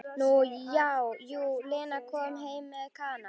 Nú já, jú, Lena kom heim með Kana.